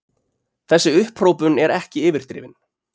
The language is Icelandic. Þessi upphrópun er ekki yfirdrifin.